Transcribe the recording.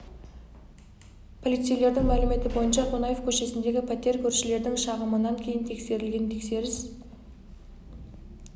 полицейлердің мәліметі бойынша қонаев көшесіндегі пәтер көршілердің шағымынан кейін тексерілген тексеріс кезінде пәтердің интим қызмет көрсетушілерге тәулікке жалға берілетіні белгілі болды